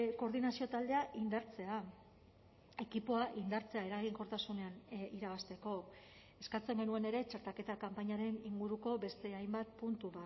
koordinazio taldea indartzea ekipoa indartzea eraginkortasunean irabazteko eskatzen genuen ere txertaketa kanpainaren inguruko beste hainbat puntu